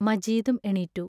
മജീദും എണീറ്റു.